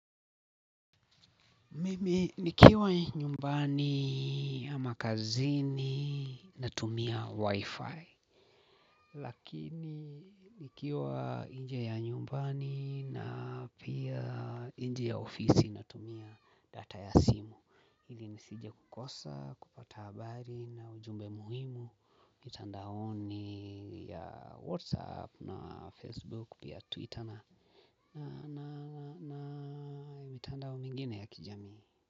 Mimi nikiwa nyumbani ama kazini na tumia wi-fi. Lakini nikiwa nje ya nyumbani na pia nje ya ofisi natumia data ya simu ili nisije kukosa, kupata habari na ujumbe muhimu. Mitandaonuli ya Whatsapp na Facebook pia Twitter na mitandao mingine ya kijamii.